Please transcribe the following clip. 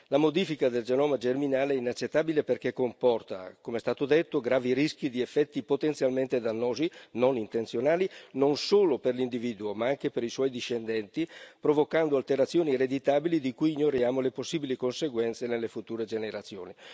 La modifica del genoma germinale è inaccettabile perché comporta, come è stato detto, gravi rischi di effetti potenzialmente dannosi, non intenzionali, non solo per l'individuo ma anche per i suoi discendenti, provocando alterazioni ereditabili di cui ignoriamo le possibili conseguenze nelle future generazioni.